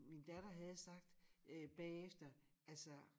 Min datter havde sagt øh bagefter altså